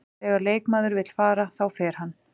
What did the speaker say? Þegar leikmaður vill fara, þá fer hann.